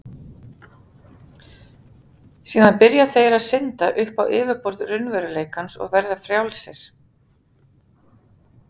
Eigum við á þeim tímapunkti að reka stjórann sem leitt hefur okkur á þennan stað?